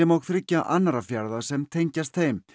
og þriggja annarra fjarða sem tengjast þeim